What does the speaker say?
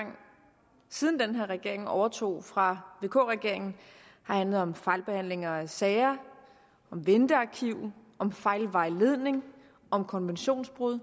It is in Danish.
siden den her regering overtog fra vk regeringen har handlet om fejlbehandlinger af sager ventearkiv fejlvejledning og konventionsbrud